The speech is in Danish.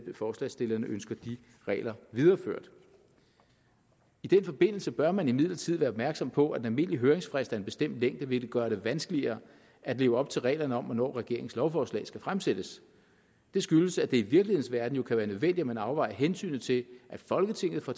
forslagsstillerne ønsker de regler videreført i den forbindelse bør man imidlertid være opmærksom på at en almindelig høringsfrist af en bestemt længde vil gøre det vanskeligere at leve op til reglerne om hvornår regeringens lovforslag skal fremsættes det skyldes at det i virkelighedens verden jo kan være nødvendigt at man afvejer hensynet til at folketinget får